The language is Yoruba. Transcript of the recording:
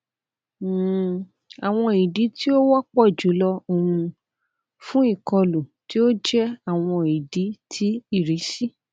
um awọn idi ti o wọpọ julọ um fun ikolu ti o jẹ awọn idi ti irisi